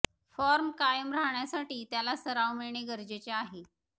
form कायम राहण्यासाठी त्याला सराव मिळणे गरजेचे आहे